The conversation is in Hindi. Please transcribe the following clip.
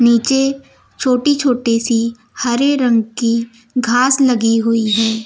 नीचे छोटी छोटी सी हरे रंग की घास लगी हुई है।